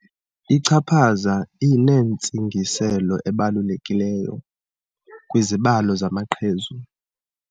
Ichaphaza linentsingiselo ebalulekileyo kwizibalo zamaqhezu.